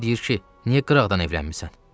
Mənə deyir ki, niyə qıraqdan evlənmisən?